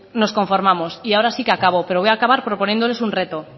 nos conformamos y ahora sí que acabo pero voy a acabar proponiéndoles un reto